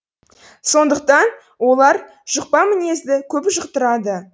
сондықтан олар жұқпа мінезді көп жұқтырады